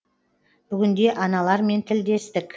бүгінде аналармен тілдестік